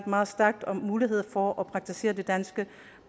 meget stærk mulighed for at praktisere det danske